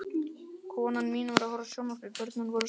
Konan mín var að horfa á sjónvarpið, börnin voru sofnuð.